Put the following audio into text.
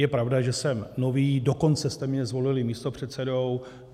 Je pravda, že jsem nový, dokonce jste mě zvolili místopředsedou.